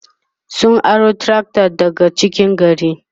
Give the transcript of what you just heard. sun aro trakta daga cikin gari